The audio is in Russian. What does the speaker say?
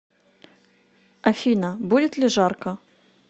афина будет ли жарко